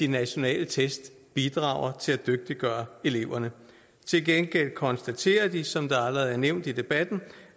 nationale test bidrager til at dygtiggøre eleverne til gengæld konstaterer de som det allerede har været nævnt i debatten